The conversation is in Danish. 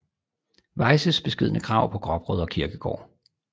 Weyses beskedne grav på Gråbrødre Kirkegård